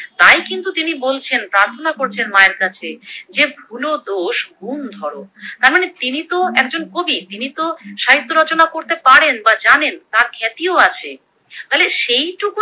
তাই কিন্তু তিনি বলছেন, প্রার্থনা করছেন মায়ের কাছে যে ভুল, দোষ, গুণ ধর, তার মানে তিনি তো একজন কবি তিনি তো সাহিত্য রচনা করতে পারেন বা জানেন তার খ্যাতিও আছে তাহলে সেইটুকু